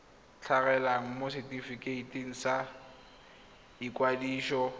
tlhagelela mo setefikeiting sa ikwadiso